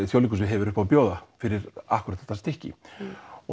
Þjóðleikhúsið hefur upp á að bjóða fyrir akkúrat þetta stykki